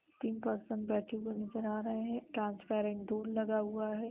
तीन पर्सन बैठे हुए नजर आ रहे हैं। ट्रांसपेरेंट डोर लगा हुआ है।